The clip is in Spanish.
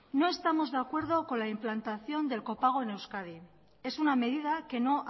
no estamos de acuerdo con la implantación del copago en euskadi es una medida que no